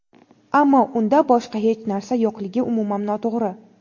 ammo unda boshqa hech narsa yo‘qligi umuman noto‘g‘ri.